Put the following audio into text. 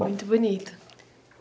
Muito bonito.